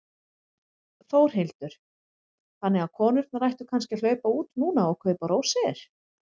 Þórhildur: Þannig að konurnar ættu kannski að hlaupa út núna og kaupa rósir?